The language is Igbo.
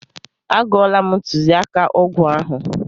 A gụọla m ntụziaka ọgwụ ahụ.